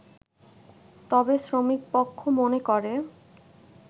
তবে শ্রমিকপক্ষ মনে করে